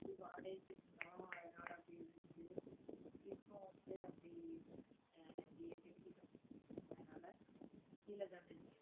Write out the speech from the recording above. அது வாடகைக்கு இருந்தோம் அதனால அப்படி இருந்துச்சு இப்போ வந்து அப்படி அஹ் அப்படியே கட்டிகிட்டோம் அதனால கீழதானே